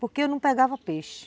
Porque eu não pegava peixe.